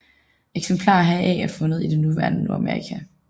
Eksemplarer heraf er fundet i det nuværende Nordamerika